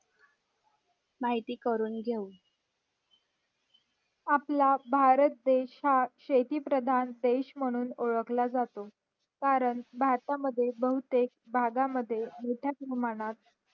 माहिती करून घेऊ आपला भारत देश हा शेती प्रधान देश म्हणून ओळखला जातो करून भारत मध्ये बहुतेक बघा मद्ये मोठ्या प्रमाणात